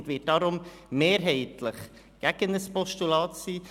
Sie wird deshalb ein Postulat mehrheitlich ablehnen.